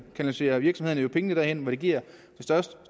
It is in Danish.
kanaliserer virksomhederne pengene derhen hvor de giver det største